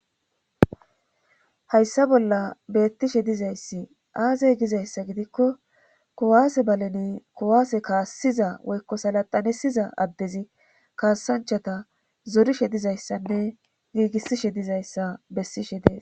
Hayssa bolla beettishe dizayssi aazey gizayssa gidikko kowaase baleni kowaase kaassiza woykko salaxanesiza addezi kaasanchata zorishe dizayssanne giigissishe dizayssa bessishe dees.